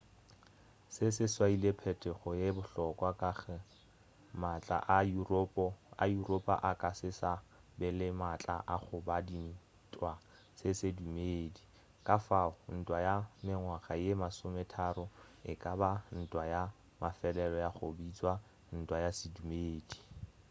se se swaile phetogo ye bohlokwa ka ge maatla a yuropa a ka se sa ba le maatla a go ba dintwa tša sedumedi ka fao ntwa ya mengwaga ye masometharo e ka ba ntwa ya mafelelo ya go bitšwa ntwa ya sedumedi